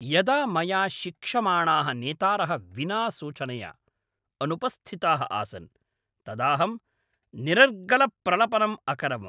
यदा मया शिक्षमाणाः नेतारः विना सूचनया अनुपस्थिताः आसन्, तदाहं निरर्गलप्रलपनम् अकरवम्।